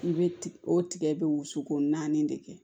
I bɛ tigɛ o tigɛ bɛ wusuko naani de kɛ